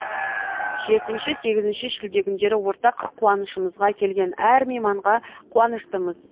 жетінші сегізінші шілде күндері ортақ қуанышымызға келген әр мейманға қуаныштымыз